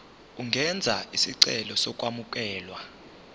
ungenza isicelo sokwamukelwa